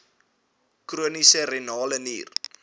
chroniese renale nier